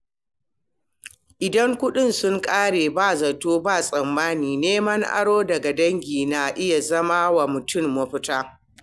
Idan kuɗi sun ƙare ba zato ba tsammani, neman aro daga dangi na iya zama wa mutum mafita.